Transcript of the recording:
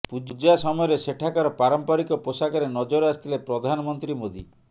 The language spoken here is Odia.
ପୂଜା ସମୟରେ ସେଠାକାର ପାରମ୍ପରିକ ପୋଷାକରେ ନଜର ଆସିଥିଲେ ପ୍ରଧାନମନ୍ତ୍ରୀ ମୋଦି